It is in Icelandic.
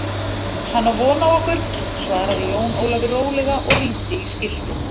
Hann á von á okkur, svaraði Jón Ólafur rólega og rýndi í skiltið.